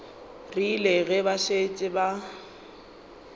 rile ge ba šetše ba